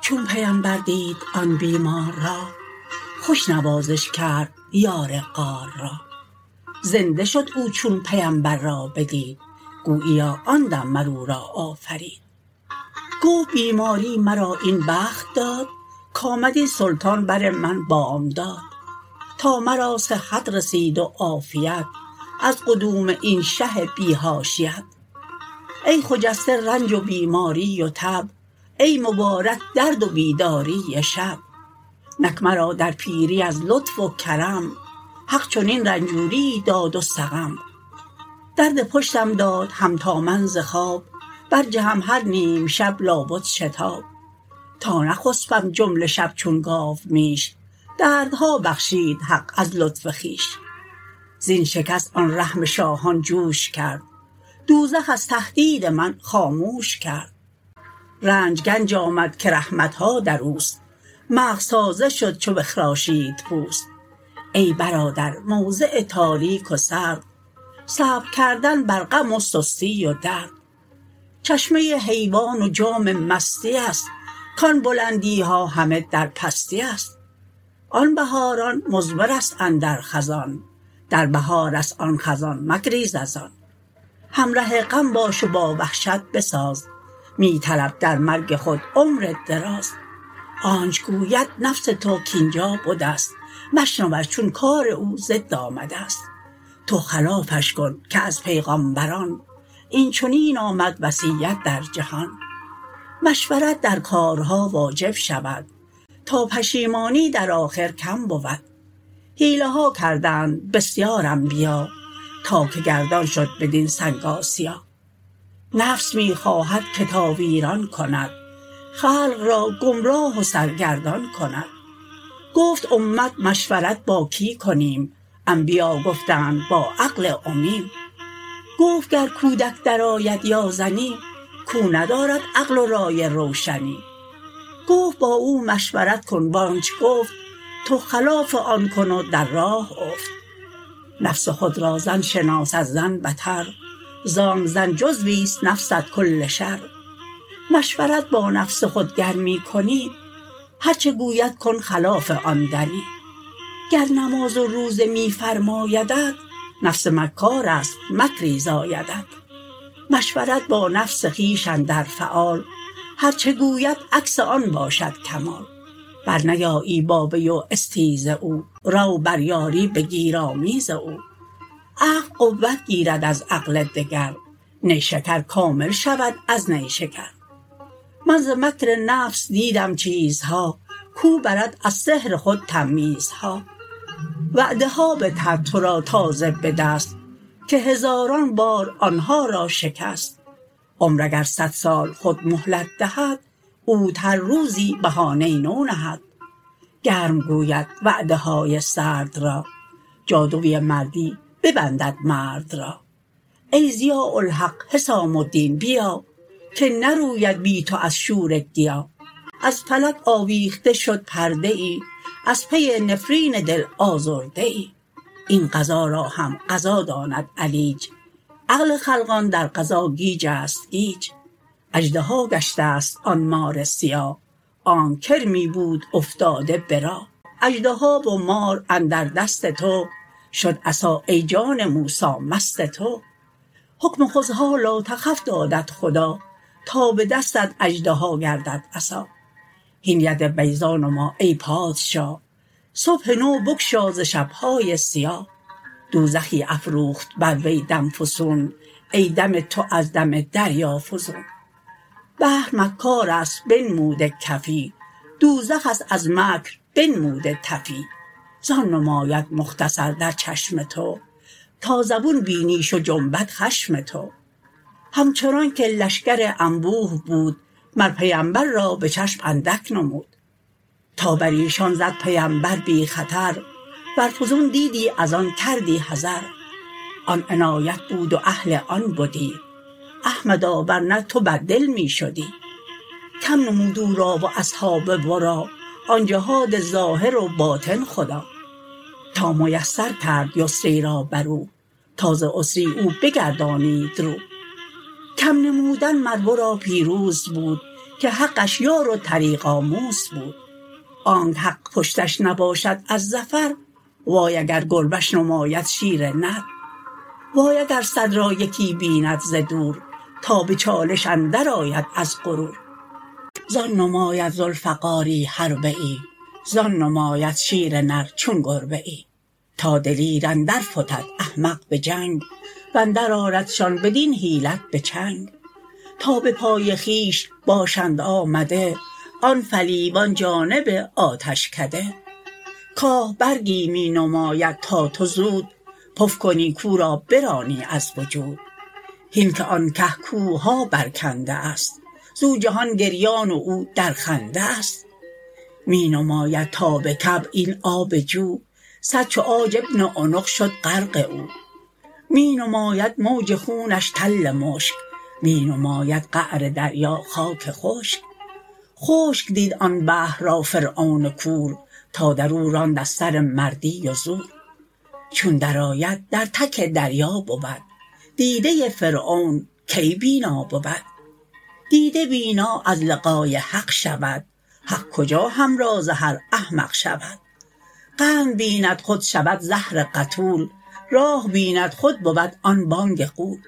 چون پیمبر دید آن بیمار را خوش نوازش کرد یار غار را زنده شد او چون پیمبر را بدید گوییا آن دم مر او را آفرید گفت بیماری مرا این بخت داد کآمد این سلطان بر من بامداد تا مرا صحت رسید و عافیت از قدوم این شه بی حاشیت ای خجسته رنج و بیماری و تب ای مبارک درد و بیداری شب نک مرا در پیری از لطف و کرم حق چنین رنجوریی داد و سقم درد پشتم داد هم تا من ز خواب بر جهم هر نیمشب لا بد شتاب تا نخسپم جمله شب چون گاومیش دردها بخشید حق از لطف خویش زین شکست آن رحم شاهان جوش کرد دوزخ از تهدید من خاموش کرد رنج گنج آمد که رحمتها دروست مغز تازه شد چو بخراشید پوست ای برادر موضع تاریک و سرد صبر کردن بر غم و سستی و درد چشمه حیوان و جام مستی است کان بلندیها همه در پستی است آن بهاران مضمرست اندر خزان در بهارست آن خزان مگریز از آن همره غم باش و با وحشت بساز می طلب در مرگ خود عمر دراز آنچ گوید نفس تو کاینجا بدست مشنوش چون کار او ضد آمدست تو خلافش کن که از پیغامبران این چنین آمد وصیت در جهان مشورت در کارها واجب شود تا پشیمانی در آخر کم بود حیله ها کردند بسیار انبیا تا که گردان شد برین سنگ آسیا نفس می خواهد که تا ویران کند خلق را گمراه و سرگردان کند گفت امت مشورت با کی کنیم انبیا گفتند با عقل امیم گفت گر کودک در آید یا زنی کو ندارد عقل و رای روشنی گفت با او مشورت کن وانچ گفت تو خلاف آن کن و در راه افت نفس خود را زن شناس از زن بتر زانک زن جزویست نفست کل شر مشورت با نفس خود گر می کنی هرچه گوید کن خلاف آن دنی گر نماز و روزه می فرمایدت نفس مکارست مکری زایدت مشورت با نفس خویش اندر فعال هرچه گوید عکس آن باشد کمال برنیایی با وی و استیز او رو بر یاری بگیر آمیز او عقل قوت گیرد از عقل دگر نیشکر کامل شود از نیشکر من ز مکر نفس دیدم چیزها کو برد از سحر خود تمییزها وعده ها بدهد تو را تازه به دست که هزاران بار آنها را شکست عمر اگر صد سال خود مهلت دهد اوت هر روزی بهانه نو نهد گرم گوید وعده های سرد را جادوی مردی ببندد مرد را ای ضیاء الحق حسام الدین بیا که نروید بی تو از شوره گیا از فلک آویخته شد پرده ای از پی نفرین دل آزرده ای این قضا را هم قضا داند علیج عقل خلقان در قضا گیجست گیج اژدها گشتست آن مار سیاه آنک کرمی بود افتاده به راه اژدها و مار اندر دست تو شد عصا ای جان موسی مست تو حکم خذها لا تخف دادت خدا تا به دستت اژدها گردد عصا هین ید بیضا نما ای پادشاه صبح نو بگشا ز شبهای سیاه دوزخی افروخت بر وی دم فسون ای دم تو از دم دریا فزون بحر مکارست بنموده کفی دوزخست از مکر بنموده تفی زان نماید مختصر در چشم تو تا زبون بینیش جنبد خشم تو همچنانک لشکر انبوه بود مر پیمبر را به چشم اندک نمود تا بریشان زد پیمبر بی خطر ور فزون دیدی از آن کردی حذر آن عنایت بود و اهل آن بدی احمدا ورنه تو بد دل می شدی کم نمود او را و اصحاب ورا آن جهاد ظاهر و باطن خدا تا میسر کرد یسری را برو تا ز عسری او بگردانید رو کم نمودن مر ورا پیروز بود که حقش یار و طریق آموز بود آنک حق پشتش نباشد از ظفر وای اگر گربه ش نماید شیر نر وای اگر صد را یکی بیند ز دور تا به چالش اندر آید از غرور زان نماید ذوالفقاری حربه ای زان نماید شیر نر چون گربه ای تا دلیر اندر فتد احمق به جنگ واندر آردشان بدین حیلت به چنگ تا به پای خویش باشند آمده آن فلیوان جانب آتشکده کاه برگی می نماید تا تو زود پف کنی کو را برانی از وجود هین که آن که کوهها بر کنده است زو جهان گریان و او در خنده است می نماید تا بکعب این آب جو صد چو عاج ابن عنق شد غرق او می نماید موج خونش تل مشک می نماید قعر دریا خاک خشک خشک دید آن بحر را فرعون کور تا درو راند از سر مردی و زور چون در آید در تک دریا بود دیده فرعون کی بینا بود دیده بینا از لقای حق شود حق کجا همراز هر احمق شود قند بیند خود شود زهر قتول راه بیند خود بود آن بانگ غول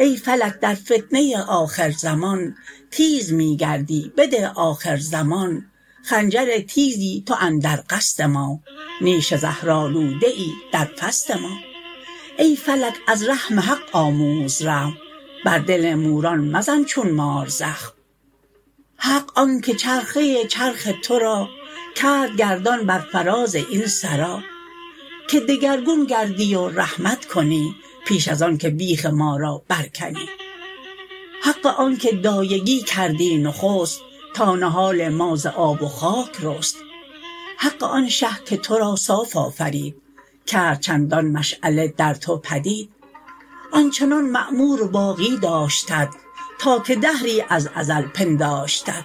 ای فلک در فتنه آخر زمان تیز می گردی بده آخر زمان خنجر تیزی تو اندر قصد ما نیش زهرآلوده ای در فصد ما ای فلک از رحم حق آموز رحم بر دل موران مزن چون مار زخم حق آنک چرخه چرخ تو را کرد گردان بر فراز این سرا که دگرگون گردی و رحمت کنی پیش از آن که بیخ ما را بر کنی حق آنک دایگی کردی نخست تا نهال ما ز آب و خاک رست حق آن شه که تو را صاف آفرید کرد چندان مشعله در تو پدید آنچنان معمور و باقی داشتت تا که دهری از ازل پنداشتت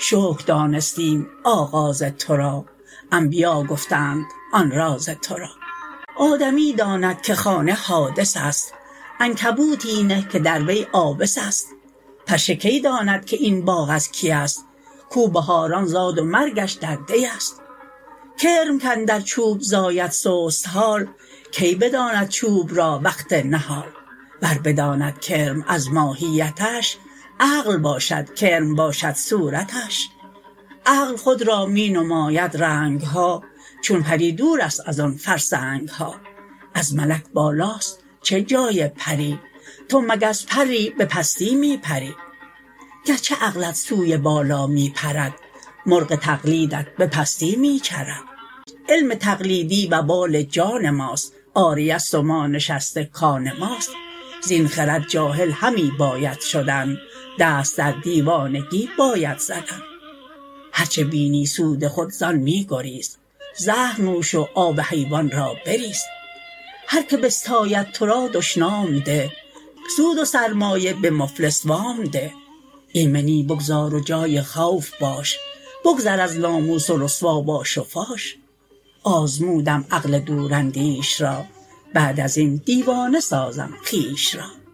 شکر دانستیم آغاز تو را انبیا گفتند آن راز تو را آدمی داند که خانه حادثست عنکبوتی نه که در وی عابثست پشه کی داند که این باغ از کی ست کو بهاران زاد و مرگش در دی ست کرم کاندر چوب زاید سست حال کی بداند چوب را وقت نهال ور بداند کرم از ماهیتش عقل باشد کرم باشد صورتش عقل خود را می نماید رنگها چون پری دورست از آن فرسنگها از ملک بالاست چه جای پری تو مگس پری بپستی می پری گرچه عقلت سوی بالا می پرد مرغ تقلیدت بپستی می چرد علم تقلیدی وبال جان ماست عاریه ست و ما نشسته کان ماست زین خرد جاهل همی باید شدن دست در دیوانگی باید زدن هرچه بینی سود خود زان می گریز زهر نوش و آب حیوان را بریز هر که بستاید تو را دشنام ده سود و سرمایه به مفلس وام ده ایمنی بگذار و جای خوف باش بگذر از ناموس و رسوا باش و فاش آزمودم عقل دور اندیش را بعد ازین دیوانه سازم خویش را